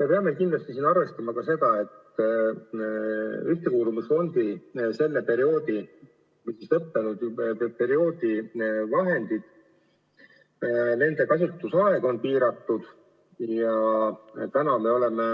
Me peame kindlasti arvestama ka seda, et Ühtekuuluvusfondi lõppenud perioodi vahendite kasutusaeg on piiratud ja täna me oleme